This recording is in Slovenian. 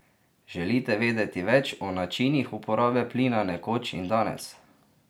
Želite vedeti več o načinih uporabe plina nekoč in danes?